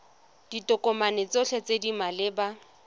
ditokomane tsotlhe tse di maleba